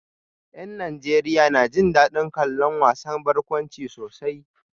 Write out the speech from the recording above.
Yan Najeriya na jin dadin kallon wasan barkwanci sosai